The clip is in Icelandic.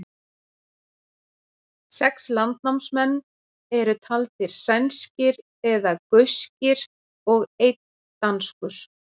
Sex landnámsmenn eru taldir sænskir eða gauskir og einn danskur.